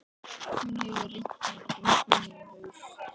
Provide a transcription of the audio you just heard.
Hún hefur reynt að hringja í mig í haust.